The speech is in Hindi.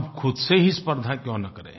हम खुद से ही स्पर्द्धा क्यों न करें